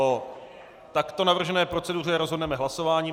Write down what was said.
O takto navržené proceduře rozhodneme hlasováním.